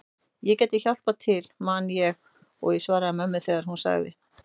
Ég gæti hjálpað til man ég að ég svaraði mömmu þegar hún sagði